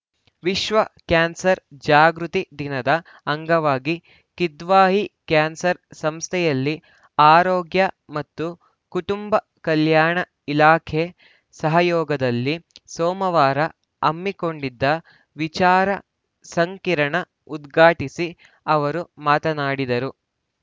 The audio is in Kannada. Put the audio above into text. ವಿಶ್ವ ಕ್ಯಾನ್ಸರ್‌ ಜಾಗೃತಿ ದಿನದ ಅಂಗವಾಗಿ ಕಿದ್ವಾಯಿ ಕ್ಯಾನ್ಸರ್‌ ಸಂಸ್ಥೆಯಲ್ಲಿ ಆರೋಗ್ಯ ಮತ್ತು ಕುಟುಂಬ ಕಲ್ಯಾಣ ಇಲಾಖೆ ಸಹಯೋಗದಲ್ಲಿ ಸೋಮವಾರ ಹಮ್ಮಿಕೊಂಡಿದ್ದ ವಿಚಾರ ಸಂಕಿರಣ ಉದ್ಘಾಟಿಸಿ ಅವರು ಮಾತನಾಡಿದರು